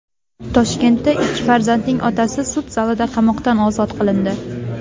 Toshkentda ikki farzandning otasi sud zalida qamoqdan ozod qilindi.